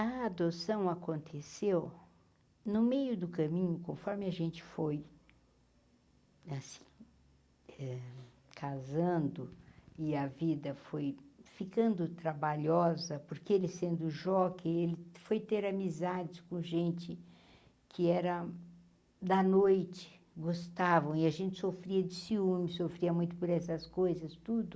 A adoção aconteceu no meio do caminho, conforme a gente foi assim eh casando e a vida foi ficando trabalhosa, porque ele sendo jockey, ele foi ter amizade com gente que era da noite, gostavam, e a gente sofria de ciúmes, sofria muito por essas coisas, tudo.